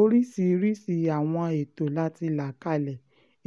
oríṣiríṣii àwọn ètò la ti là kalẹ̀